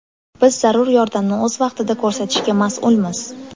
Biz zarur yordamni o‘z vaqtida ko‘rsatishga mas’ulmiz.